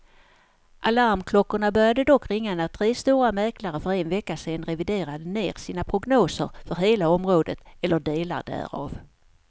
Alarmklockorna började dock ringa när tre stora mäklare för en vecka sedan reviderade ned sina prognoser för hela området eller delar därav.